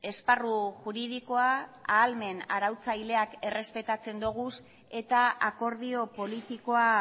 esparru juridikoa ahalmen arautzaileak errespetatzen doguz eta akordio politikoa